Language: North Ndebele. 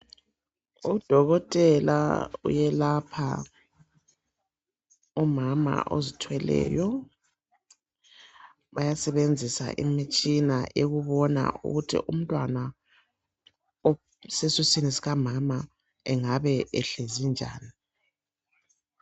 Udokotela uyelapha umama ozithweleyo bayasebenzisa imitshina yokubona ukuthi umntwana osesiswini sikamama engabe ehlezi njani.